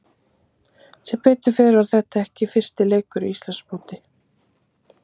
Sem betur fer var þetta ekki fyrsti leikur í Íslandsmóti.